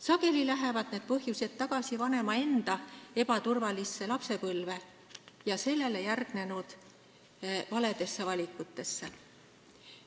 Sageli tulenevad need põhjused vanema enda ebaturvalisest lapsepõlvest ja sellele järgnenud valedest valikutest.